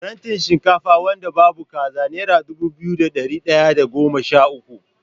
Farantin shinkafa wanda babu kaza nera dubu biyu da ɗari ɗaya da goma sha uku.